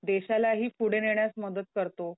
देशालाही पुढे नेण्यास मदत करतो.